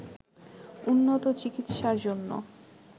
উন্নত চিকিৎসার জন্য